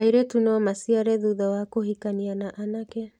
Airĩtu no maciare thutha wa kũhikania na anake.